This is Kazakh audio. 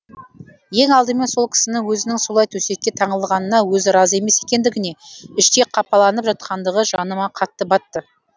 ең алдымен сол кісінің өзінің солай төсекке таңылғанына өзі разы емес екендігіне іштей қапаланып жатқандығы жаныма қатты батты